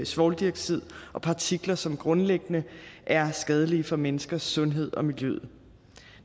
svovldioxid og partikler som grundlæggende er skadelige for menneskers sundhed og miljøet